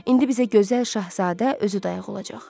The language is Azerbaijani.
İndi bizə gözəl şahzadə özü dayağı olacaq.